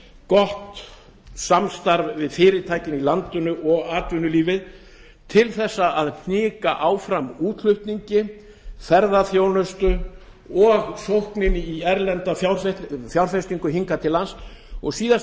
gott samstarf við fyrirtækin í landinu og atvinnulífið til að hnika áfram útflutningi ferðaþjónustu og sókninni í erlenda fjárfestingu hingað til lands og síðast